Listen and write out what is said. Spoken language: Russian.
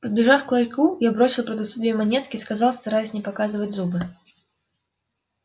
подбежав к ларьку я бросил продавцу две монетки сказал стараясь не показывать зубы